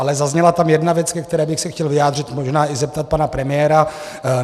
Ale zazněla tam jedna věc, ke které bych se chtěl vyjádřit, možná i zeptat pana premiéra.